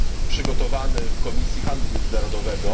przygotowane w Komisji Handlu Międzynarodowego.